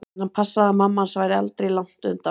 En hann passaði að mamma hans væri aldri langt undan.